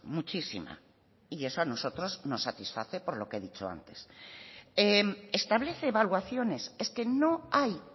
muchísima y eso a nosotros nos satisface por lo que he dicho antes establece evaluaciones es que no hay